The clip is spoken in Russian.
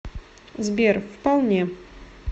сбер вполне